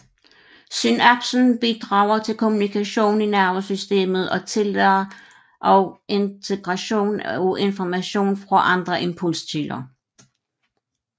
Synapsen bidrager til kommunikation i nervesystemet og tillader også integration af information fra andre impulskilder